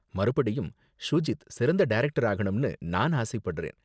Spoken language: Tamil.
மறுபடியும் ஷூஜித் சிறந்த டைரக்டர் ஆகணும்னு நான் ஆசைப்படுறேன்.